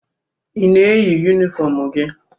I na-eyi yunifọmụ gị?